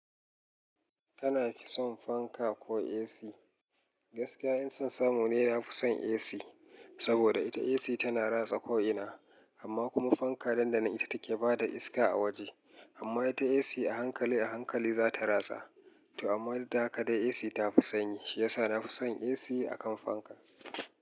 Kana fi son fanka ko AC? Gaskiya in son samu ne na fi son AC. Saboda ita AC tana ratsa ko'ina, amma kuma fanka dandana ita take bada iska a waje. Amma ita AC a hankali a hankali za ta ratsa. To amma duk da haka dai AC ta fi sanyi, shi yasa na fi son AC akan fanka.